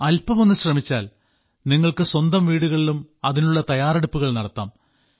അൽപ്പമൊന്നു ശ്രമിച്ചാൽ നിങ്ങൾക്ക് സ്വന്തം വീടുകളിലും അതിനുള്ള തയ്യാറെടുപ്പുകൾ നടത്താം